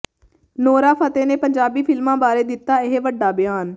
Nora Fatehi ਨੇ ਪੰਜਾਬੀ ਫ਼ਿਲਮਾਂ ਬਾਰੇ ਦਿੱਤਾ ਇਹ ਵੱਡਾ ਬਿਆਨ